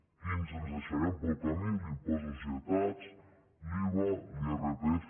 quins ens deixarem pel camí l’impost de societats l’iva l’irpf